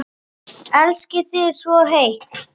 Elska þig svo heitt.